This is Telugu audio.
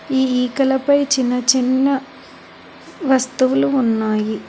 ఈ ఈకలపై చిన్న చిన్న వస్తువులు ఉన్నాయి.